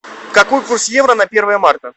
какой курс евро на первое марта